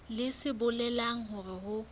leng se bolelang hore ho